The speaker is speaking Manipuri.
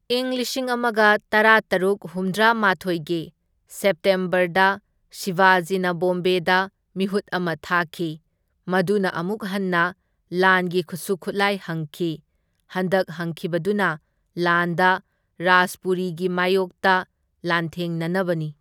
ꯏꯪ ꯂꯤꯁꯤꯡ ꯑꯃꯒ ꯇꯔꯥꯇꯔꯨꯛ ꯍꯨꯝꯗ꯭ꯔꯥ ꯃꯥꯊꯣꯢꯒꯤ ꯁꯦꯞꯇꯦꯝꯕꯔꯗ ꯁꯤꯕꯥꯖꯤꯅ ꯕꯣꯝꯕꯦꯗ ꯃꯤꯍꯨꯠ ꯑꯃ ꯊꯥꯈꯤ, ꯃꯗꯨꯅ ꯑꯃꯨꯛ ꯍꯟꯅ ꯂꯥꯟꯒꯤ ꯈꯨꯠꯁꯨ ꯈꯨꯠꯂꯥꯏ ꯍꯪꯈꯤ, ꯍꯟꯗꯛ ꯍꯪꯈꯤꯕꯗꯨꯅ ꯗꯥꯟꯗꯥ ꯔꯥꯖꯄꯨꯔꯤꯒꯤ ꯃꯥꯏꯌꯣꯛꯇ ꯂꯥꯟꯊꯦꯡꯅꯅꯕꯅꯤ꯫